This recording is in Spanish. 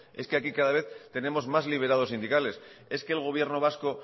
es que aquí cada vez tenemos más liberados sindicales es que el gobierno vasco